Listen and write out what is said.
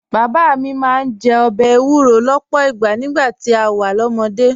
Bàbá mi máa ń jẹ ọbẹ̀ èwúrọ̀ lọ́pọ̀ ìgbà nígbà tá a wà lọ́mọdé